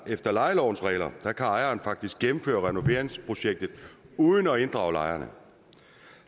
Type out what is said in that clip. efter lejelovens regler kan ejeren faktisk gennemføre renoveringsprojektet uden at inddrage lejerne